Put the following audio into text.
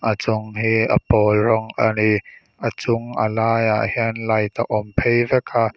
a chung hi a pawl rawng a ni a chung a laiah hian light a awm phei vek a.